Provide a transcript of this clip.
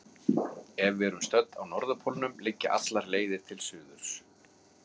Ef við erum stödd á norðurpólnum liggja allar leiðir til suðurs.